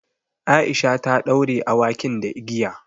Aisha ta ɗaure awakin da igiya.